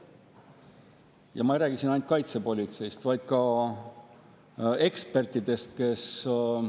Ma ei räägi siin ainult kaitsepolitseist, vaid ka ekspertidest.